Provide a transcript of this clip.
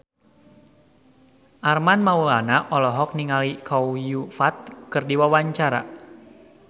Armand Maulana olohok ningali Chow Yun Fat keur diwawancara